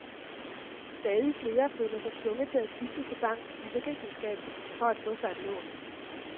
Stadig flere føler sig tvunget til at skifte til bankens forsikringsselskab for at få sig et lån.